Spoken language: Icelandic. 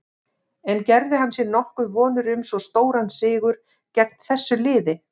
En gerði hann sér nokkuð vonir um svo stóran sigur gegn þessu liði?